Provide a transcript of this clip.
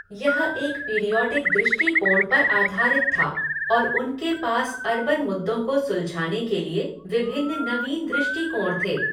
यह एक पीरियॉडिक दृष्टिकोण पर आधारित था और उनके पास अर्बन मुद्दों को सुलझाने के लिए विभिन्न नवीन दृष्टिकोण थे।